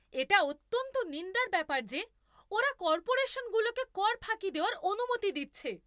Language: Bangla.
এটা অত্যন্ত নিন্দার ব্যাপার যে ওরা কর্পোরেশনগুলোকে কর ফাঁকি দেওয়ার অনুমতি দিচ্ছে।